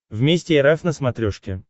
вместе эр эф на смотрешке